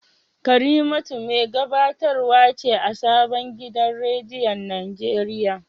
Karimatu mai gabatarwa ce a sabon gidan rediyon Najeriya